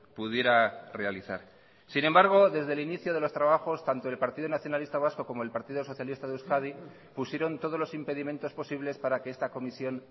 pudiera realizar sin embargo desde el inicio de los trabajos tanto el partido nacionalista vasco como el partido socialista de euskadi pusieron todos los impedimentos posibles para que esta comisión